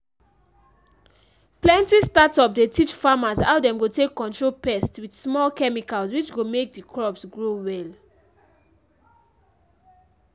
plenty startup dey teach farmers how dem go take control pest with small chemicals which go make dey crops grow well.